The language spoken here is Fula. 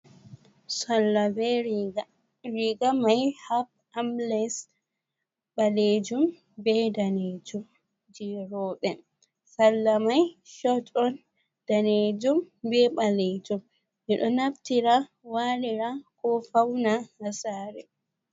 Salla be Riga: Riga mai armless ɓalejum be danejum je roɓe. Salla mai short on danejum be ɓalejum. Ɓedo naftira walira ko fauna ha sare.